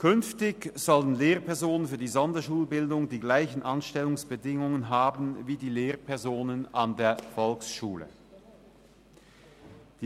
Künftig sollen Lehrpersonen für die Sonderschulbildung die gleichen Anstellungsbedingungen wie die Lehrpersonen an der Volksschule haben.